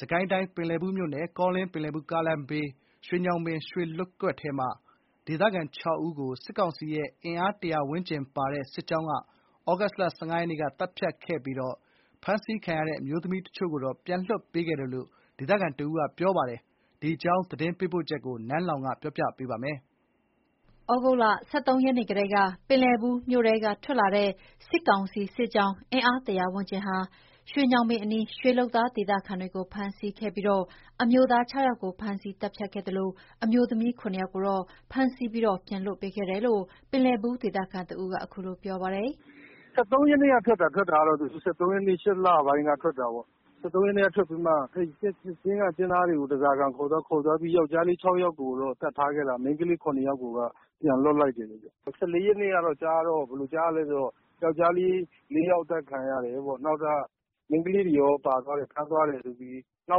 စစ်ကိုင်းတိုင်း ပင်လည်ဘူးမြို့နယ် ကောလင်း- ပင်လည်ဘူး ကားလမ်းဘေး ရွှေညောင်ပင် ရွှေလုပ်ကွက်ထဲက ဒေသခံ ၆ ဦးကို စစ်ကောင်စီရဲ့ အင်အား ၁၀၀ ဝန်းကျင်ပါတဲ့စစ်ကြောင်းက သြဂုတ်လ ၁၅ ရက်နေ့က သတ်ဖြတ်ခဲ့ပြီး ဖမ်းဆီးခံရတဲ့ အမျိုးသမီးတချို့ကိုတော့ ပြန်လွှတ်ပေးခဲ့တယ်လို့ ဒေသခံတဦးက ပြောပြတယ်။ ဒီအကြောင်းသတင်းပေးပို့ချက်ကို နန်းလောဝ်က တင်ပြပေးထားပါတယ်။ သြဂုတ်လ ၁၃ ရက်နေ့ကတည်းက ပင်လည်ဘူးမြို့ထဲက ထွက်လာတဲ့ စစ်ကောင်စီစစ်ကြောင်း အင်အား ၁၀၀ ဝန်းကျင်ဟာ ရွှေညောင်ပင်အနီးက ရွှေလုပ်သား ဒေသခံတွေကို ဖမ်းဆီးခဲ့ပြီး အမျိုးသား ၆ ယောက်ကို ဖမ်းဆီးသတ်ဖြတ်ခဲ့ပါတယ်။ အမျိုးသမီး ၇ ယောက်ကိုတော့ ဖမ်းဆီးပြီး ပြန်လွှတ်ပေးခဲ့တယ်လို့ ပင်လည်ဘူး ဒေသခံတဦးက ခုလိုပြောပါတယ်။ “စစ်ကြောင်းထွက်တာကတော့ ၁၃ ရက်နေ့ကထွက်တာ။ ၈ လပိုင်း ၁၃ ရက်နေ့က ထွက်လာတာပေါ့။ ၁၃ ရက်နေ့ကထွက်ပြီးတော့မှ ရွှေကျင်းက လုပ်သားတွေကို ဓားစာခံအနေနဲ့ ခေါ်သွားပြီးတော့ ယောက်ျားလေး ၆ ယောက်ကို သတ်ထားခဲ့တာ။ မိန်းကလေး ၇ ယောက်ကိုက ပြန်လွှတ်လိုက်တယ်။ ၁၄ ရက်နေ့ကကြားတော့ ယောကျ်ားလေး ၄ ယောက် အသတ်ခံရတယ်ပေါ့။ မိန်းကလေးတွေရော ပါသွားတယ်။ ဖမ်းသွားတယ်လို့ ကြားတာ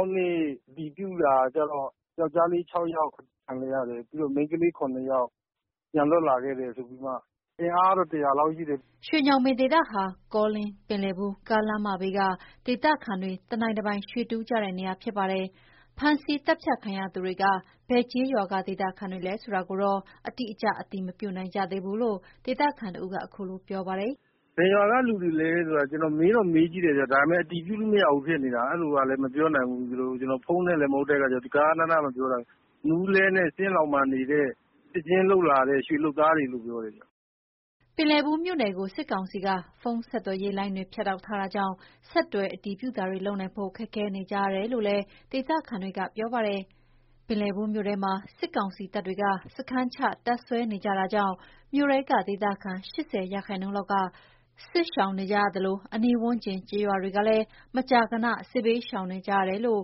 ။ နောက်နေ့ အတည်ပြုတာကျတော့ ယောက်ျားလေး ၆ ယောက် အသတ်ခံလိုက်ရတယ်။ ပြီးတော့ မိန်းကလေး ၇ ယောက် ပြန်လွှတ်ခဲ့တယ်။ အင်အားကတော့ ၁၀၀ လောက် ရှိတယ်။” ရွှေညောင်ပင် ဒေသဟာ ကောလင်း-ပင်လည်ဘူး ကားလမ်းမဘေးက ဒေသခံတွေ တနိုင်တပိုင် ရွှေတူးကြတဲ့နေရာဖြစ်ပါတယ်။ ဖမ်းဆီးသတ်ဖြတ်ခံရသူတွေက ဘယ်ကျေးရွာက ဒေသခံတွေလဲဆိုတာကိုတော့ အတိအကျ အတည်မပြုနိုင်ကြသေးဘူးလို့ ေ့ဒသခံတဦးက ခုလိုပြောပါတယ်။ “ဘယ်ရွာက လူတွေလဲဆိုတော့ မေးတော့မေးကြည့်တယ်ဗျ၊ ဒါပေမယ့် အတည်ပြုလို့မရဘူးဖြစ်နေတာ။ အဲ့လိုကလည်း မေးလို့ မရပြန်ဘူး။ ကျနော်တို့က ဖုန်းနဲ့ ဆက်သွယ်ရတာလည်း မဟုတ်တော့ ဂဃနဏ မပြောနိုင်တာ။ မူးလဲနဲ့ ကျင်းလောင်မှာနေတဲ့ ဒီဘက်ကို အလုပ်လာလုပ်တဲ့ ရွှေလုပ်သားတွေလို့တော့ ပြောတယ်ဗျ။” ပင်လည်ဘူးမြို့နယ်ကို စစ်ကောင်စီက ဖုန်းဆက်သွယ်ရေးလိုင်းတွေ ဖြတ်တောက်ထားတာကြောင့် ဆက်သွယ်အတည်ပြုတာတွေလုပ်နိုင်ဖို့ ခက်ခဲနေကြရတယ်လို့လည်းဒေသခံတွေက ပြောပါတယ်။ ပင်လည်ဘူးမြို့ထဲမှာ စစ်ကောင်စီတပ်တွေက စခန်းချတပ်စွဲနေကြတာကြောင့် မြို့ထဲက ဒေသခံ ၈၀ ရာခိုင်နှုန်းလောက်က ထွက်ပြေး စစ်ရှောင်နေကြရသလို အနီးဝန်းကျင် ကျေးရွာတွေကလည်း မကြာခဏ စစ်ဘေရှောင်ကြရတယ်လို့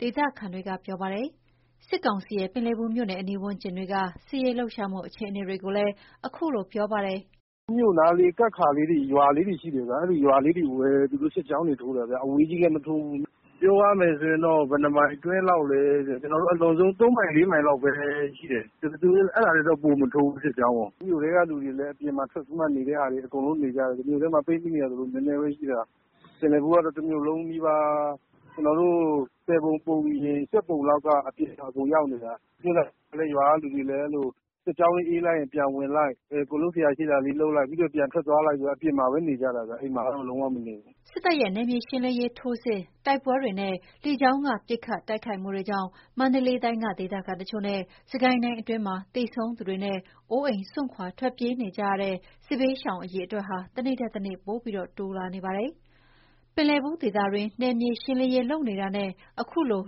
ဒေသခံက ပြောပါတယ်။ စစ်ကောင်စီရဲ့ ပင်လည်ဘူးမြို့အနီးဝန်းကျင်တွေက စစ်ရေးလှုပ်ရှားမှုအခြေအနေတွေကို ခုလိုပြောပါတယ်။ “အဲ့နားမှာ ကပ်နေတဲ့ ရွာာလေးတွေ ရှိတယ်ဗျ။ အဲ့ဒီရွာလေးတွေကိုပဲ သူတို့ စစ်ကြောင်းထိုးတာဗျ။ အဲ့ထက် ဝေးတဲ့ နေရာတွေကို သူတို့ မထိုးဘူး။ ပြောရမယ်ဆိုရင်တော့ သူတို့က ၃ မိုင် ၄ မိုင်အတွင်းလောက်ပဲ သူတို့ စစ်ကြောင်းထိုးတယ်။ အဲ့ထက်ပိုပြီး သူတို့ မထိုးဘူး။ စစ်ကြောင်းကို။ မြို့ထဲကလူတွေလည်း အကုန်အပြင်ထွက်ပြီးတော့မှ နေကြတယ်။ မြို့ထဲမှာပိတ်မိနေတာဆိုလို့ နည်းနည်းပဲရှိတာ။ ပင်လည်ဘူးကတော့ တမြို့လုံးနီးပါး ၁၀ ပုံ ပုံရင် ၈ ပုံလောက်က အပြင်ရောက်နေတာ။ အဲ့လိုပဲ ရွာာက လူတွေကလည်း အဲ့လို စစ်ကြောင်းလာရင် ပြေးလိုက် ပြီးရင် ပြန်ဝင်လိုက် လုပ်စရာရှိတာလုပ်လိုက်ပေါ့၊ ရွာပြင်မှာပဲ နေကြရတာ။ ရွာထဲတော့ ပြန်မဝင်နိုင်ကြဘူး။” စစ်တပ်ရဲ့ နယ်မြေရှင်းလင်းရေး ထိုးစစ်၊ တိုက်ပွဲတွေနဲ့ လေကြောင်းက ပစ်ခတ်တိုကခိုက်မှုတွေကြောင့် မန္တလေးတိုင်းက ဒေသတချို့နဲ့ စစ်ကိုင်းတိုင်းအတွင်းမှာ သေဆုံးသူတွေနဲ့ အိုးအိမ် စွန့်ခွာ ထွက်ပြေးနေကြရတဲ့ စစ်ဘေးရှောင် အရေအတွက်ဟာ တနေ့ထက်တနေ့ ပိုပြီး တိုးလာနေပါတယ်။ ပင်လည်ဘူးဒေသတွင်း နယ်မြေရှင်းလင်းရေးလုပ်နေတာနဲ့ အခုလို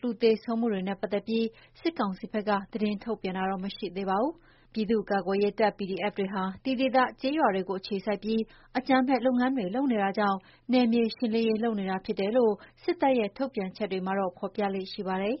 လူသေဆုံးမှုတွေနဲ့ပတ်သက်ပြီး စစ်ကောင်စီဘက်က သတင်းမထုတ်ပြန်သေးပါဘူး။ ပြည်သူ့ကာကွယ်ရေးတပ် PDF တွေဟာ ဒီဒေသကျေးရွာတွေကို အခြေစိုက်ပြီး အကြမ်းဖက်လုပ်ငန်းတွေလုပ်နေတာကြောင့် နယ်မြေရှင်းလင်းရေးလုပ်နေတာဖြစ်တယ်လို့ စစ်တပ်ရဲ့ ထုတ်ပြန်ချက်တွေမှာ ဖော်ပြလေ့ရှိပါတယ်။